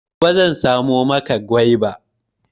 Gobe zan samo maka gwaiba.